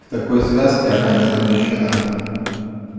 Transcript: в такой связке она не запрещена